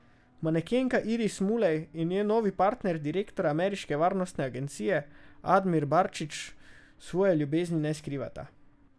Manekenka Iris Mulej in njen novi partner, direktor ameriške varnostne agencije Admir Barčić, svoje ljubezni ne skrivata.